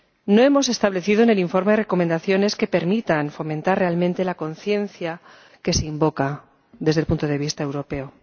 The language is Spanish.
No hemos establecido en el informe recomendaciones que permitan fomentar realmente la conciencia que se invoca desde el punto de vista europeo.